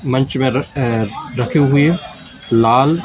मंच में रथ अ रखी हुई है लाल--